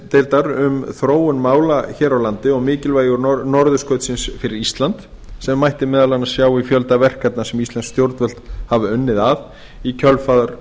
íslandsdeildar um þróun mála hér á landi og mikilvægi norðurskautsins fyrir ísland sem mætti meðal annars sjá í fjölda verkefna sem íslensk stjórnvöld hafa unnið að í kjölfar